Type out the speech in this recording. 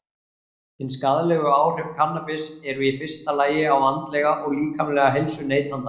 Hin skaðlegu áhrif kannabis eru í fyrsta lagi á andlega og líkamlega heilsu neytandans.